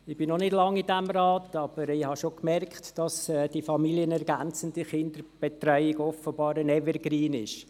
Ich bin noch nicht lange in diesem Rat, aber ich habe schon bemerkt, dass die familienergänzende Kinderbetreuung hier offenbar ein Evergreen ist.